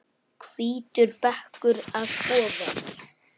Hvítur bekkur að ofan.